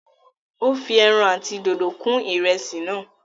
ó fi èràn àti dòdo kún ìrẹsì náà